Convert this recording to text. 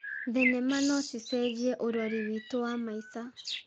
Thenema no cicenjie ũrori witũ wa maica.